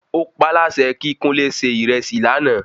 Ó paá láṣẹ kí Kúnlé ṣe ìrẹsì lánàá